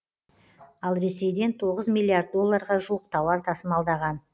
ал ресейден тоғыз миллиард долларға жуық тауар тасымалдаған